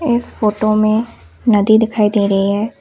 इस फोटो में नदी दिखाई दे रही है।